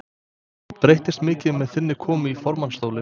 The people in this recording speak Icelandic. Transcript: Breytist mikið með þinni komu í formannsstólinn?